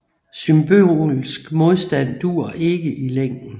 Symbolsk modstand duer ikke i længden